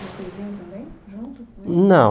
E vocês iam também, junto? Não